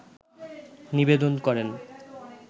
নিবেদন করেন